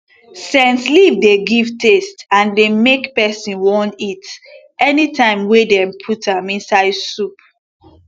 scent leaf dey give taste and dey make person wan eat anytime wey dem put am inside soup